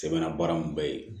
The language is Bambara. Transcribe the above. Sɛbɛnna baara in bɛɛ ye